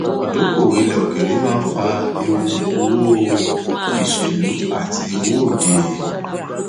ìdókòwò ilẹ òkèèrè máa ń fà ewu owó ìṣèlú àti owó òde